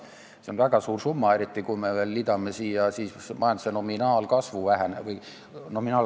See on väga suur summa, eriti kui me siia veel majanduse nominaalkasvu liidame.